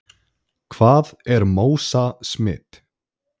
Hvað er MÓSA-smit?